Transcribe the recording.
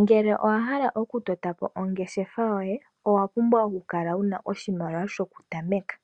Ngele owahala okutotapo ongeshefa yoye owapumbwa okukala wuna oshimaliwa shoku tameka